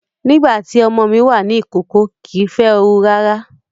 Nígbà tí ọmọ mi wà ní ìkókó, kìí fẹ́ ooru rárá